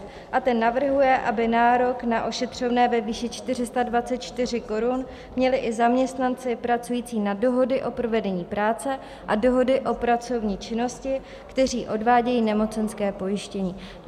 Ten navrhuje, aby nárok na ošetřovné ve výši 424 korun měli i zaměstnanci pracující na dohody o provedení práce a dohody o pracovní činnosti, kteří odvádějí nemocenské pojištění.